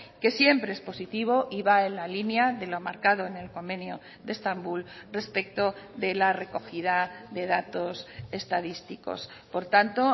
que siempre es positivo y va en la línea de lo marcado en el convenio de estambul respecto de la recogida de datos estadísticos por tanto